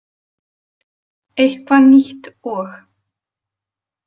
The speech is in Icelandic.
Eitthvað nýtt og.